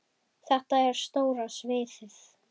Þetta er stóra sviðið.